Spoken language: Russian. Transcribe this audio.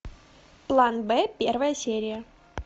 план б первая серия